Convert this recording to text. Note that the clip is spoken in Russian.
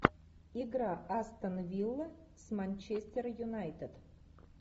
игра астон вилла с манчестер юнайтед